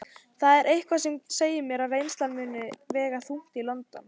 Það er eitthvað sem segir mér að reynslan muni vega þungt í London.